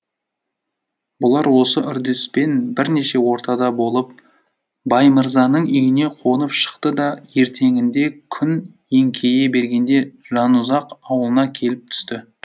бұлар осы үрдіспен бірнеше отарда болып баймырзаның үйіне қонып шықты да ертеңінде күн еңкейе бергенде жанұзақ аулына келіп түсті